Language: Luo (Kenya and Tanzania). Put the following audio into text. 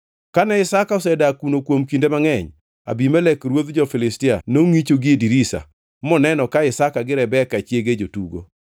Kane Isaka osedak kuno kuom kinde mangʼeny, Abimelek ruodh jo-Filistia nongʼicho gie dirisa moneno ka Isaka gi Rebeka chiege jotugo.